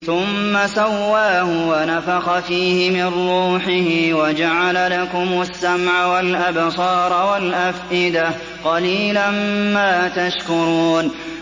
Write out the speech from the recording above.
ثُمَّ سَوَّاهُ وَنَفَخَ فِيهِ مِن رُّوحِهِ ۖ وَجَعَلَ لَكُمُ السَّمْعَ وَالْأَبْصَارَ وَالْأَفْئِدَةَ ۚ قَلِيلًا مَّا تَشْكُرُونَ